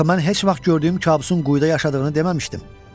Axı mən heç vaxt gördüyüm kabusun quyuda yaşadığını deməmişdim.